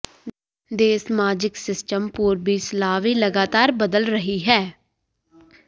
ਦੇ ਸਮਾਜਿਕ ਸਿਸਟਮ ਪੂਰਬੀ ਸਲਾਵੀ ਲਗਾਤਾਰ ਬਦਲ ਰਹੀ ਹੈ